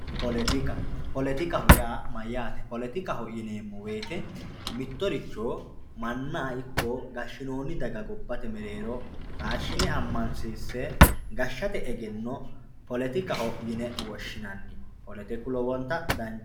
poletika poletikaho yaa mayaate poletikaho yineemo woyiite mittoricho manna ikko gashshinoonni daga gobbate mereero taashshine ammansiinse gashshate egenno poletikaho yine woshshinanni poletiku lowonta danchaho